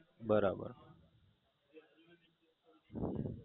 બરાબર